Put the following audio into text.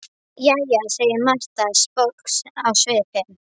Jæja, segir Marta, sposk á svipinn.